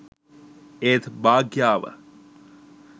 ඒත් භාග්‍යාව